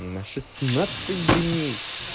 на шестнадцать дней